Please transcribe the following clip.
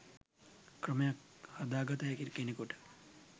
ක්‍රමයක් හදා ගත හැකි කෙනෙකුට